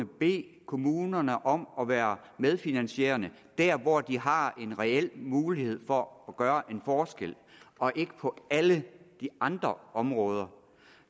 bede kommunerne om at være medfinansierende der hvor de har en reel mulighed for at gøre en forskel og ikke på alle de andre områder